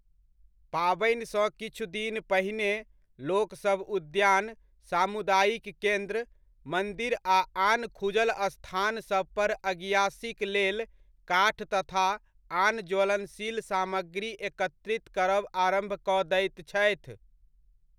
पाबनिसँ किछु दिन पहिने, लोक सभ उद्यान, सामुदायिक केन्द्र, मन्दिर आ आन खुजल स्थानसभ पर अगिआसीक लेल काठ तथा आन ज्वलनशील सामग्री एकत्रित करब आरम्भ कऽ दैत छथि।